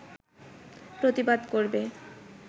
প্রতিবাদ করবে